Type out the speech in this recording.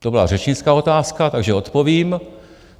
To byla řečnická otázka, takže odpovím.